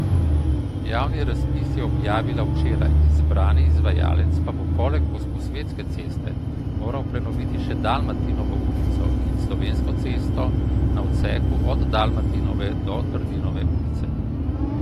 Javni razpis je objavila včeraj, izbrani izvajalec pa bo poleg Gosposvetske ceste moral prenoviti še Dalmatinovo ulico in Slovensko cesto na odseku od Dalmatinove do Trdinove ulice.